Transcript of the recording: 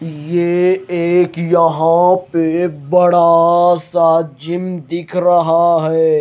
ये एक यहां पे बड़ा सा जिम दिख रहा है।